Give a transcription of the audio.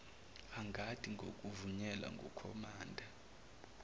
angathi ngokuvunyelwa ngukhomanda